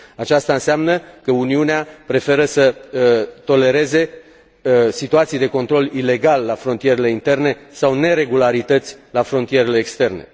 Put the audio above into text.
Aceasta înseamnă că Uniunea preferă să tolereze situații de control ilegal la frontierele interne sau neregularități la frontierele externe.